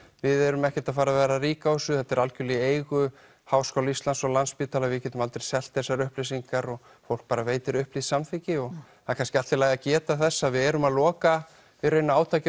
við erum ekkert að fara að vera rík á þessu þetta er algjörlega í eigu Háskóla Íslands og Landspítalans og við getum aldrei selt þessar upplýsingar og fólk bara veitir upplýst samþykki það er kannski allt í lagi að geta þess að við erum að loka fyrir átakið